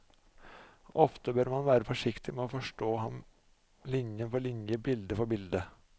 Ofte bør man være forsiktig med å forstå ham linje for linje, bilde for bilde.